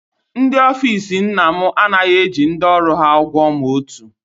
Ndị ofiisi nna m anaghị eji ndị ọrụ ha ụgwọ ma otu